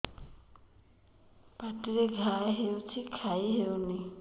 ପାଟିରେ ଘା ହେଇଛି ଖାଇ ହଉନି